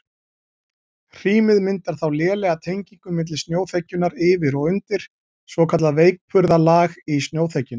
Hrímið myndar þá lélega tengingu milli snjóþekjunnar yfir og undir, svokallað veikburða lag í snjóþekjunni.